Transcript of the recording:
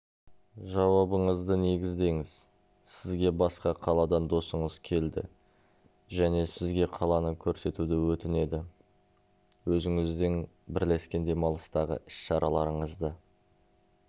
жауабыңызды негіздеңіз сізге басқа қаладан досыңыз келді және сізге қаланы көрсетуді өтінеді өзіңіздің бірлескен демалыстағы іс-шараларыңызды